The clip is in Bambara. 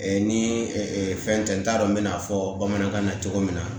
Ni fɛn tɛ n t'a dɔn n bɛ n'a fɔ bamanankan na cogo min na